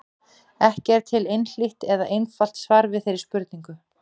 Ekki er til einhlítt eða einfalt svar við þeirri spurningu.